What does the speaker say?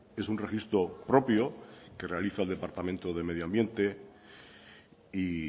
es un registro propio que realiza en departamento de medio ambiente y